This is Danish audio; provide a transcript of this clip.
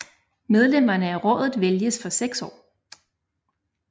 Medlemmerne af rådet vælges for 6 år